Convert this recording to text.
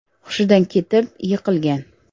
hushidan ketib, yiqilgan.